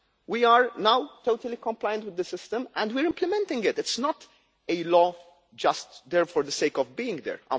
We are now totally compliant with the system and we are implementing it. It is not a law just there for the sake of being there.